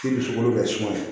K'i dusukolo kɛ suma ye